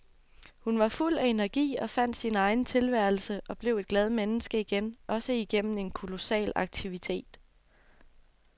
Hun var fuld af energi og fandt sin egen tilværelse og blev et glad menneske igen, også igennem en kolossal aktivitet.